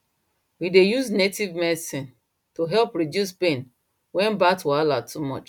i dey use native medicine to help reduce pain when birth wahala too much